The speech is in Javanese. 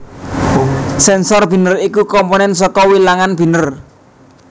Sensor Binèr iku komponèn saka Wilangan Binèr